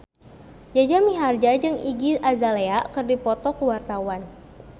Jaja Mihardja jeung Iggy Azalea keur dipoto ku wartawan